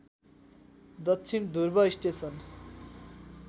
दक्षिण ध्रुव स्टेसन